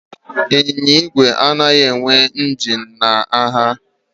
Ịnyịnya ígwè anaghị enwe injin na ha